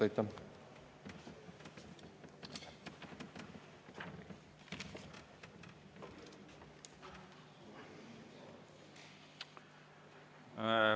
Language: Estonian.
Aitäh!